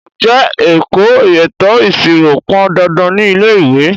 Ǹjẹ́ ẹ̀kọ́ ètò ìṣirò pọn dandan ni ilé ìwé?